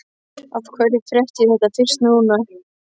Af hverju frétti ég þetta fyrst núna?